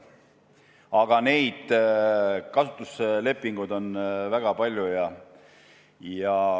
Aga kasutuslepinguid on väga palju.